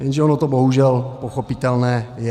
Jenže ono to bohužel pochopitelné je.